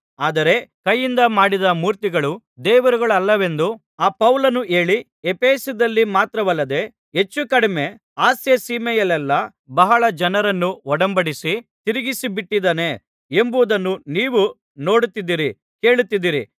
ಆದರೆ ಕೈಯಿಂದ ಮಾಡಿದ ಮೂರ್ತಿಗಳು ದೇವರುಗಳಲ್ಲವೆಂದು ಆ ಪೌಲನು ಹೇಳಿ ಎಫೆಸದಲ್ಲಿ ಮಾತ್ರವಲ್ಲದೆ ಹೆಚ್ಚುಕಡಿಮೆ ಆಸ್ಯಸೀಮೆಯಲ್ಲೆಲ್ಲಾ ಬಹಳ ಜನರನ್ನು ಒಡಂಬಡಿಸಿ ತಿರುಗಿಸಿಬಿಟ್ಟಿದ್ದಾನೆ ಎಂಬುದನ್ನು ನೀವು ನೋಡುತ್ತಿದ್ದೀರಿ ಕೇಳುತ್ತಿದ್ದೀರಿ